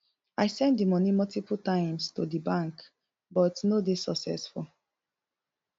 i send di money multiple times to di bank but no dey successful